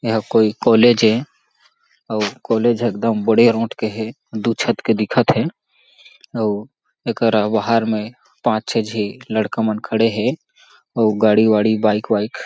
ए हा कोई कॉलेज ए अउ कॉलेज एकदम बड़े रोट के हे दू छत के दिखत हे अउ एकरा बाहर में पाँच छे झी लड़का मन खड़े हे अउ गाड़ी-वाड़ी बाइक -वाइक--